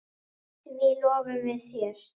Því lofum við þér!